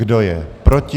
Kdo je proti?